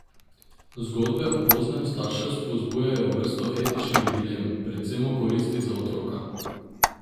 Zgodbe o poznem starševstvu zbujajo vrsto etičnih dilem, predvsem o koristi za otroka.